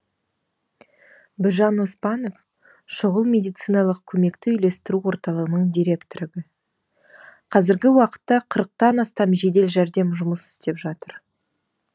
біржан оспанов шұғыл медициналық көмекті үйлестіру орталығының директоры қазіргі уақытта қырықтан астам жедел жәрдем жұмыс істеп жатыр